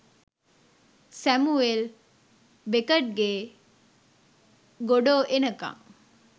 Samuel බෙකට්ගේ "Godot එනකං"